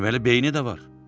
Deməli beyni də var.